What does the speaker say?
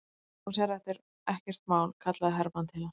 Þú sérð að þetta er ekkert mál, kallaði Hermann til hans.